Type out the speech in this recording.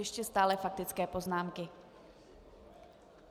Ještě stále faktické poznámky.